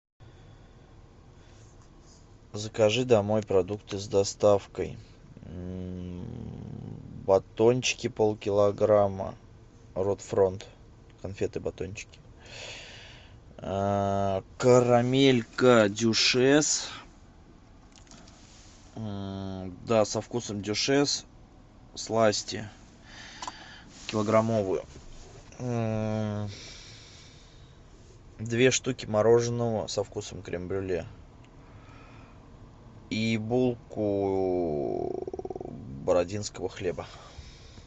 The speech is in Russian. закажи домой продукты с доставкой батончики полкилограмма рот фронт конфеты батончики карамелька дюшес да со вкусом дюшес сласти килограммовую две штуки мороженого со вкусом крем брюле и булку бородинского хлеба